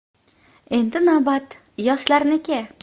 Endi navbat yoshlarniki”.